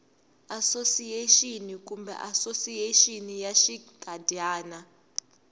asosiyexini kumbe asosiyexini ya xinkadyana